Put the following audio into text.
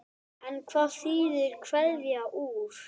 En hvað þýðir kveða úr?